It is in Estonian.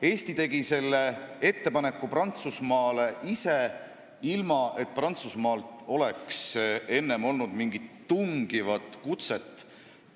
Eesti tegi selle ettepaneku Prantsusmaale ise, ilma et Prantsusmaalt oleks enne tulnud mingit tungivat kutset.